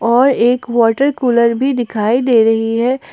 और एक water cooler भी दिखाई दे रही है।